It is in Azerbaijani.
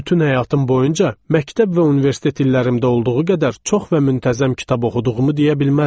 Bütün həyatım boyunca məktəb və universitet illərimdə olduğu qədər çox və müntəzəm kitab oxuduğumu deyə bilmərəm.